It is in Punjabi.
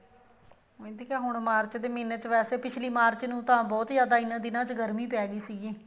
ਵੈਸੇ ਹੁਣ ਮਾਰਚ ਦੇ ਮਹੀਨੇ ਚ ਵੈਸੇ ਪਿਛਲੀ ਮਾਰਚ ਨੂੰ ਤਾਂ ਬਹੁਤ ਜਿਆਦਾ ਇਹਨਾ ਦਿਨਾ ਵਿੱਚ ਗਰਮੀ ਪੈਗੀ ਸੀਗੀ